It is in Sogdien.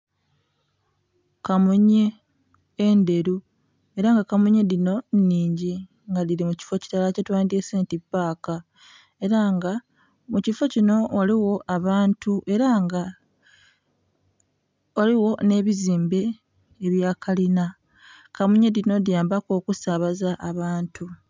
Kamunye endheru. Ela nga kamunye dhino nnhingi nga dhili mu kifo kilala kyetwandyese nti paaka. Ela nga mu kifo kino ghaligho abantu ela nga ghaligho nh'ebizimbe ebya kalina. Kamunye dhino dhiyambaku okusaabaza abantu.